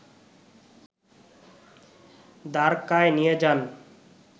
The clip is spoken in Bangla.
দ্বারকায় নিয়ে যান